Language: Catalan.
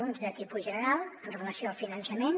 uns de tipus general amb relació al finançament